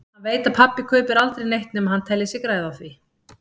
Hann veit að pabbi kaupir aldrei neitt nema hann telji sig græða á því.